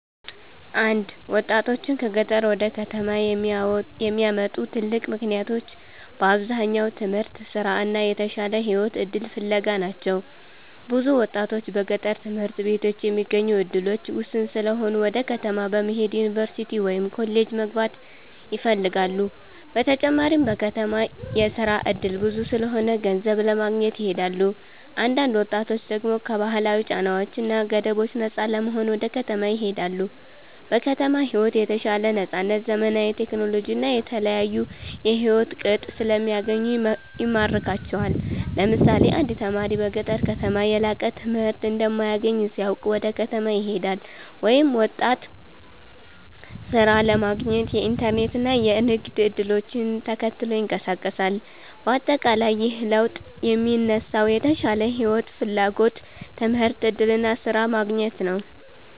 1ወጣቶችን ከገጠር ወደ ከተማ የሚያመጡ ትልቅ ምክንያቶች በአብዛኛው ትምህርት፣ ስራ እና የተሻለ የህይወት እድል ፍለጋ ናቸው። ብዙ ወጣቶች በገጠር ትምህርት ቤቶች የሚገኙ እድሎች ውስን ስለሆኑ ወደ ከተማ በመሄድ ዩኒቨርሲቲ ወይም ኮሌጅ መግባት ይፈልጋሉ። በተጨማሪም በከተማ የስራ እድል ብዙ ስለሆነ ገንዘብ ለማግኘት ይሄዳሉ። አንዳንድ ወጣቶች ደግሞ ከባህላዊ ጫናዎች እና ገደቦች ነፃ ለመሆን ወደ ከተማ ይሄዳሉ። በከተማ ሕይወት የተሻለ ነፃነት፣ ዘመናዊ ቴክኖሎጂ እና የተለያዩ የሕይወት ቅጥ ስለሚገኙ ይማርካቸዋል። ለምሳሌ አንድ ተማሪ በገጠር ከተማ የላቀ ትምህርት እንደማይገኝ ሲያውቅ ወደ ከተማ ይሄዳል፤ ወይም ወጣት ሥራ ለማግኘት የኢንተርኔት እና የንግድ እድሎችን ተከትሎ ይንቀሳቀሳል። በአጠቃላይ ይህ ለውጥ የሚነሳው የተሻለ ሕይወት ፍላጎት፣ ትምህርት እድል እና ስራ ማግኘት ነው።